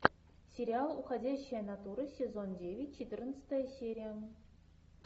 сериал уходящая натура сезон девять четырнадцатая серия